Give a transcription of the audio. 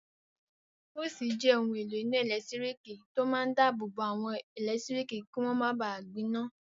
Fúùsì jẹ́ ohun èlò iná ẹ̀lẹ́tírík tó máa n dáàbò bo àwọn ẹlẹtíríkì kí wọ́n máa ba gbiná